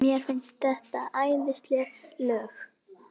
Er málþófi lokið?